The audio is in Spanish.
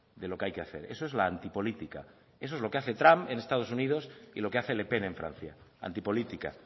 de lo que hay que hacer eso es la antipolítica eso es lo que hace trump en estados unidos y lo que hace le pen en francia antipolítica